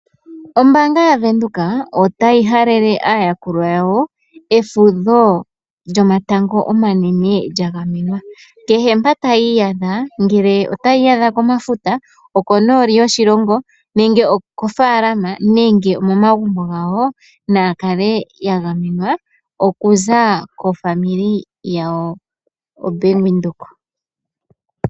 Ombanga ya venduka otayi halele aayakulwa yawo efudho lyomatango omanene lyagamenwa, kehe pa tayiyadha ngele otayiyadha komafuta oko noli yoshilongo nenge oko falama nenge omo magumbo ngawo nayaksle yagamenwa okuza kofamili yawo bank Widheok.